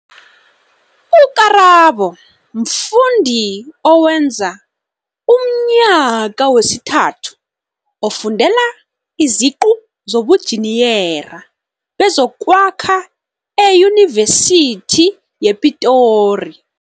U-Karabo mfundi owenza umnyaka wesithathu ofundela iziqu zobunjiniyera bezokwakha eYunivesithi ye-Pitori.